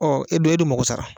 e dun e dun mago sara